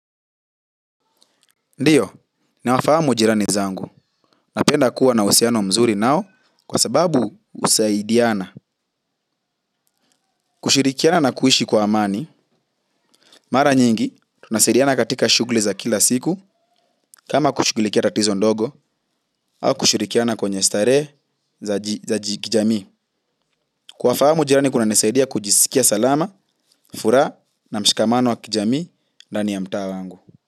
Ndiyo, nawafahamu jirani zangu. Napenda kuwa na uhusiano mzuri nao kwa sababu kusaidiana. Kushirikiana na kuishi kwa amani. Mara nyingi tunasaidiana katika shughuli za kila siku kama kushughulikia tatizo ndogo au kushirikiana kwenye starehe za jamii. Kuwafahamu jirani kunanisaidia kujisikia salama, furaha na mshikamano wa kijamii ndani ya mtaa wangu.